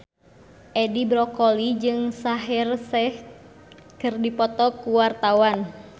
Edi Brokoli jeung Shaheer Sheikh keur dipoto ku wartawan